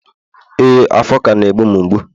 ee, afo ka na e mgbu'm mgbu.